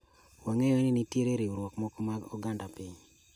Wang'eyo ni nitie riwruoge moko mag oganda piny